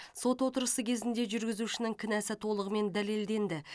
сот отырысы кезінде жүргізушінің кінәсі толығымен дәлелденді